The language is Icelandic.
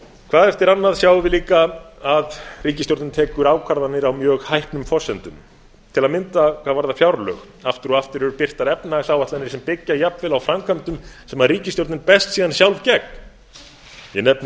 hvað eftir annað sjáum við líka að ríkisstjórnin tekur ákvarðanir á mjög hæpnum forsendum til að mynda hvað varðar fjárlög aftur og aftur eru birtar efnahagsáætlanir sem byggja jafnvel á framkvæmdum sem ríkisstjórnin berst síðan sjálf gegn ég